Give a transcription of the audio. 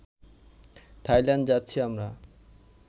Thailand যাচ্ছি আমরা